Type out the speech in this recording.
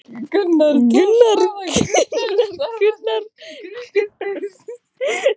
Jóhann: Hvenær kemur í ljós hvort að þessar tilraunir hafi heppnast?